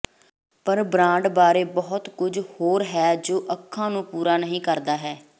ਪਰ ਬ੍ਰਾਂਡ ਬਾਰੇ ਬਹੁਤ ਕੁਝ ਹੋਰ ਹੈ ਜੋ ਅੱਖਾਂ ਨੂੰ ਪੂਰਾ ਕਰਦਾ ਹੈ